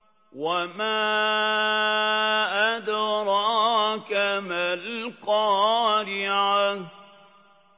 وَمَا أَدْرَاكَ مَا الْقَارِعَةُ